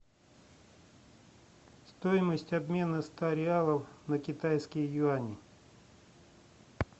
стоимость обмена ста реалов на китайские юани